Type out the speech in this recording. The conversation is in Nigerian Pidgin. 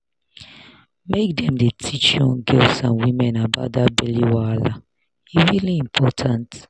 make dem dey teach young girls and women about that belly wahala e really important